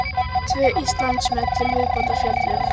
Tvö Íslandsmet til viðbótar féllu